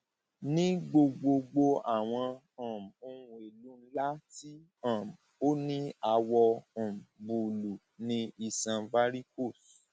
ní gbogbogbò àwọn um ohun èlò ńlá tí um ó ní àwọ um búlúù ni iṣan varicose